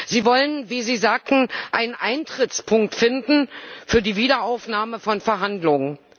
Sie wollen, wie Sie sagten, einen Eintrittspunkt finden für die Wiederaufnahme von Verhandlungen.